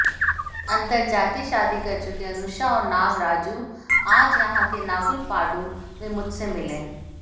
अंतरजातीय शादी कर चुके अनूषा और नागराजू आज यहां के नागुलपाडु में मुझसे मिले